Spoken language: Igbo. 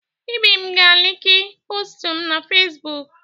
Ibim ga-alaiki postụ m na Fezbụk.